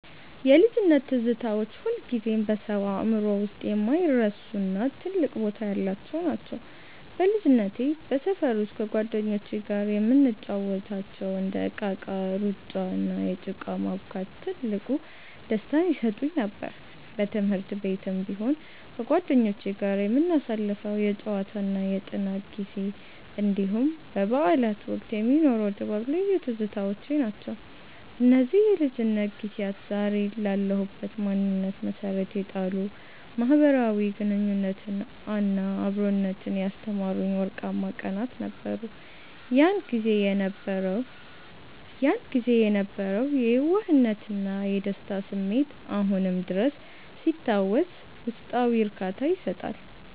የልጅነት ትዝታዎች ሁልጊዜም በሰው አእምሮ ውስጥ የማይረሱና ትልቅ ቦታ ያላቸው ናቸው። በልጅነቴ በሰፈር ውስጥ ከጓደኞቼ ጋር የምንጫወታቸው እንደ እቃቃ፣ ሩጫ፣ እና ጭቃ ማቡካት ትልቅ ደስታን ይሰጡኝ ነበር። በትምህርት ቤትም ቢሆን ከጓደኞቼ ጋር የምናሳልፈው የጨዋታና የጥናት ጊዜ፣ እንዲሁም በበዓላት ወቅት የሚኖረው ድባብ ልዩ ትዝታዎቼ ናቸው። እነዚህ የልጅነት ጊዜያት ዛሬ ላለሁበት ማንነት መሠረት የጣሉ፣ ማኅበራዊ ግንኙነትንና አብሮነትን ያስተማሩኝ ወርቃማ ቀናት ነበሩ። ያን ጊዜ የነበረው የየዋህነትና የደስታ ስሜት አሁንም ድረስ ሲታወስ ውስጣዊ እርካታን ይሰጣል።